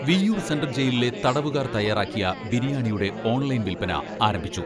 Viyyur central ജയിലിലെ തടവുകാർ തയ്യാറാക്കിയ ബിരിയാണിയുടെ ഓൺലൈൻ വിൽപന ആരംഭിച്ചു.